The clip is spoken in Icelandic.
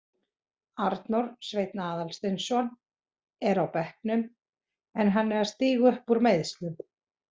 Arnór Sveinn Aðalsteinsson er á bekknum en hann er að stíga upp úr meiðslum.